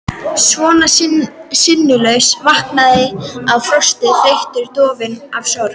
Svona sinnulaus, vankaður af frosti, þreytu, dofinn af sorg.